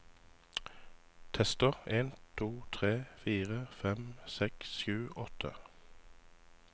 Tester en to tre fire fem seks sju åtte